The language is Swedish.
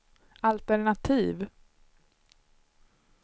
altenativ